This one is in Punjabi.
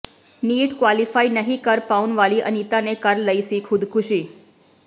ਨੀਟ ਕੁਆਲੀਫਾਈ ਨਹੀਂ ਕਰ ਪਾਉਣ ਵਾਲੀ ਅਨੀਤਾ ਨੇ ਕਰ ਲਈ ਸੀ ਖੁਦਕੁਸ਼ੀ